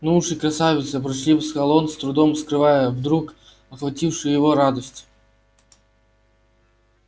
ну уж и красавица ворчливо сказал он с трудом скрывая вдруг охватившую его радость